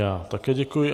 Já také děkuji.